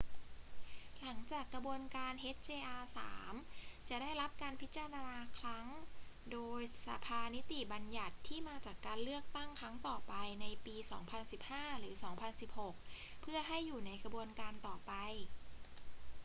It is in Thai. หลังจากกระบวนการ hjr-3 จะได้รับการพิจารณาครั้งโดยสภานิติบัญญัติที่มาจากการเลือกตั้งครั้งต่อไปในปี 2015 หรือ 2016 เพื่อให้อยู่ในกระบวนการต่อไป